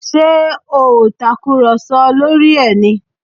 Ṣé ẹ ò tàkùrọ̀sọ lórí ẹ̀ ni?